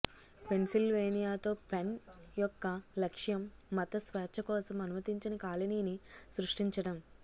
పెన్సిల్వేనియాతో Penn యొక్క లక్ష్యం మత స్వేచ్ఛ కోసం అనుమతించిన కాలనీని సృష్టించడం